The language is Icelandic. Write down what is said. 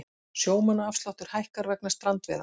Sjómannaafsláttur hækkar vegna strandveiða